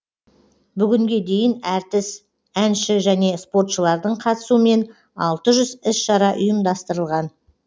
бүгінге дейін әртіс әнші және спортшылардың қатысуымен алты жүз іс шара ұйымдастырылған